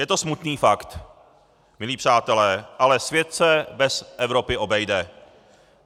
Je to smutný fakt, milí přátelé, ale svět se bez Evropy obejde.